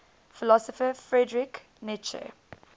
philosopher friedrich nietzsche